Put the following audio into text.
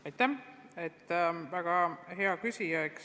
Aitäh, väga hea küsimus!